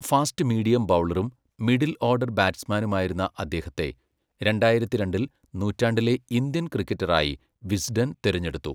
Fast medium ബൗളറും, middle order ബാറ്റ്സ്മാനുമായിരുന്ന അദ്ദേഹത്തെ, രണ്ടായിരത്തി രണ്ടിൽ നൂറ്റാണ്ടിലെ ഇന്ത്യൻ ക്രിക്കറ്ററായി വിസ്ഡൻ തിരഞ്ഞെടുത്തു.